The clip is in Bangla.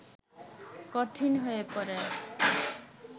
কঠিন হয়ে পড়ে